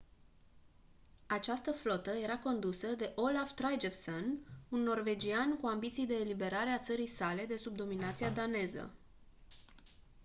această flotă era condusă de olaf trygvasson un norvegian cu ambiții de eliberare a țării sale de sub dominația daneză